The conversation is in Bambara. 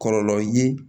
Kɔlɔlɔ ye